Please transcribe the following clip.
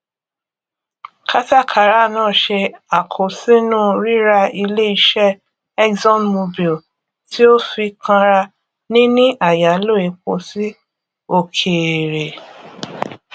katakara náà ṣe àkósínú rírà iléiṣẹ exxonmobil tí ó fi kanra níní àyálò epo sí òkèèrè